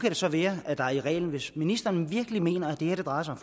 det så være hvis ministeren virkelig mener at det her drejer sig